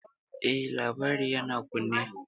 Eh, labari yana kunne.